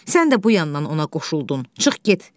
Sən də bu yandan ona qoşuldun, çıx get.